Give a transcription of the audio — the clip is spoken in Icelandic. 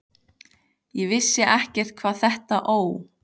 Ég vissi ekkert hvað þetta Ó!